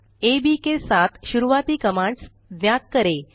AB के साथ शुरूआती कमांड्स ज्ञात करें